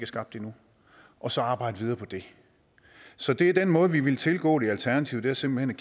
skabt endnu og så arbejde videre på det så det er den måde vi vil tilgå det i alternativet simpelt